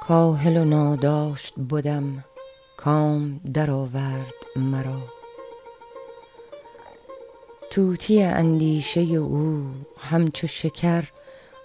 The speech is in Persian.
کاهل و ناداشت بدم کام درآورد مرا طوطی اندیشه او همچو شکر